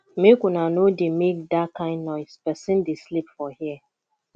make una no dey make dat kin noise person dey sleep for here